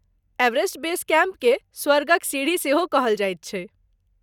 Everest base कैम्पकेँ स्वर्गक सीढ़ी सेहो कहल जाइत छैक।